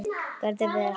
Gerði vel.